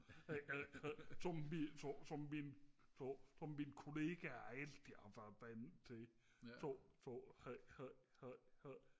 som mine som som mine som kollegaer altid har været vant til